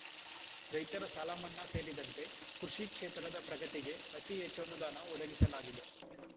ರೈತರ ಸಾಲಮನ್ನಾ ಸೇರಿದಂತೆ ಕೃಷಿ ಕ್ಷೇತ್ರದ ಪ್ರಗತಿಗೆ ಅತಿ ಹೆಚ್ಚು ಅನುದಾನ ಒದಗಿಸಲಾಗಿದೆ